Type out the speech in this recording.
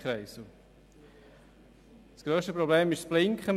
Das grösste Problem ist das Blinken.